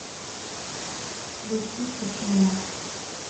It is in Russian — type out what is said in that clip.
включи тишина